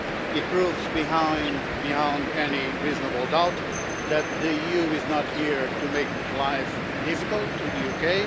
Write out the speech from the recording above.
It proves beyond any reasonable doubt that the EU is not here to make life difficult for the UK.